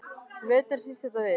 Á veturna snýst þetta við.